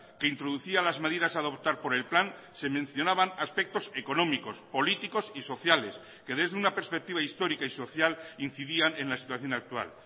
que introducía las medidas a adoptar por el plan se mencionaban aspectos económicos políticos y sociales que desde una perspectiva histórica y social incidían en la situación actual